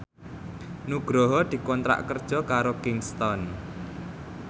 Nugroho dikontrak kerja karo Kingston